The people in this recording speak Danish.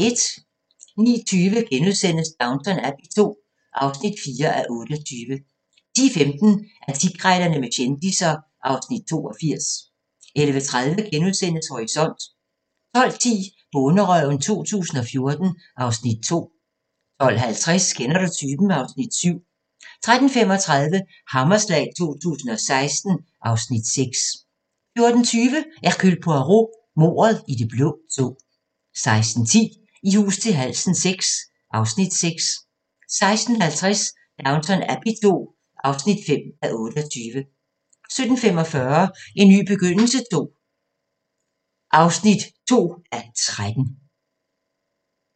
09:20: Downton Abbey II (4:28)* 10:15: Antikkrejlerne med kendisser (Afs. 82) 11:30: Horisont * 12:10: Bonderøven 2014 (Afs. 2) 12:50: Kender du typen? (Afs. 7) 13:35: Hammerslag 2016 (Afs. 6) 14:20: Hercule Poirot: Mordet i det blå tog 16:10: I hus til halsen VI (Afs. 6) 16:50: Downton Abbey II (5:28) 17:45: En ny begyndelse (2:13)